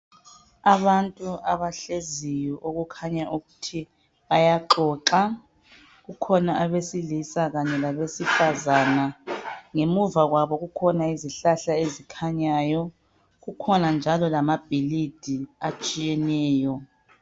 Abantu abahleziyo okukhanya ukuthi bayaxoxa. Kukhona abesilisa kanye labesifazana. Ngemuva kwabo kukhona izihlahla ezikhanyayo, kukhona njalo lamabhilidi atshiyeneyo.